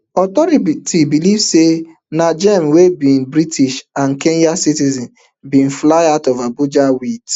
authorities believe say najeem wey be british and kenyan citizen bin fly out of abuja wit